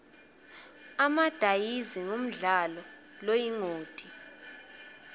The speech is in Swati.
emadayizi ngumdlalo loyingoti